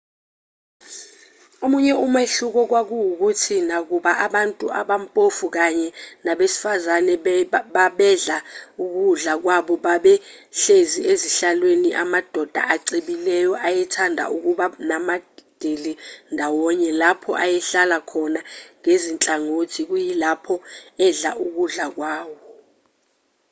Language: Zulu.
omunye umehluko kwakuwukuthi nakuba abantu abampofu kanye nabesifazane babedla ukudla kwabo babe behlezi ezihlalweni amadoda acebile ayethanda ukuba namadili ndawonye lapho ayehlala khona ngezinhlangothi kuyilapho edla ukudla kwawo